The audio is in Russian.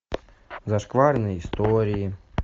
зашкварные истории